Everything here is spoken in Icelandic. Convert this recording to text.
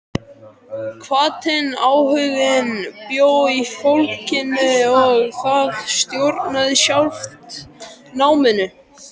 Hvatinn, áhuginn bjó í fólkinu og það stjórnaði sjálft náminu.